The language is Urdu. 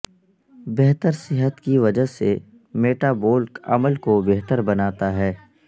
بہتر صحت کی وجہ سے میٹابولک عمل کو بہتر بناتا ہے